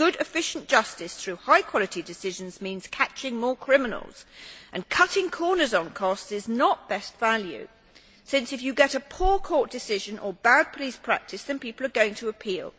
Good efficient justice through high quality decisions means catching more criminals, and cutting corners on costs is not best value since if you get a poor court decision or bad police practice, then people are going to appeal.